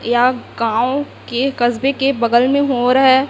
यहां गांव के कस्बे के बगल में हो रहा है।